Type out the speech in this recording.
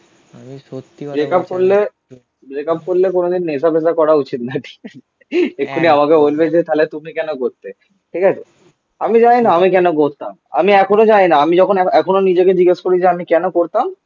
Breakup করলে breakup করলে কোনোদিন নেশা ফেসা করা উচিত না ঠিক আছে এক্ষুনি আমাকে বলবে যে তাহলে তুমি কেন করতে? ঠিক আছে? আমি জানিনা আমি কেন করতাম? আমি এখনো জানিনা আমি যখন এখনো নিজেকে জিজ্ঞেস করি যে আমি কেন করতাম?